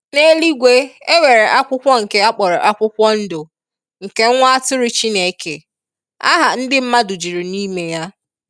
N'eluigwe e nwere akwụkwọ nke akpọrọ akwụkwọ ndụ nke nwa atụrụ Chineke. Aha ndi mmadụ juru n'ime ya.